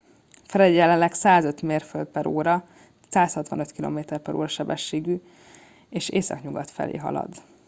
fred jelenleg 105 mérföld/óra 165 km/ó szélsebességgű és északnyugat felé halad